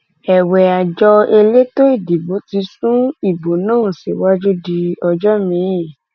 èwe àjọ elétò ìdìbò ti sún ìbò náà síwájú di ọjọ miín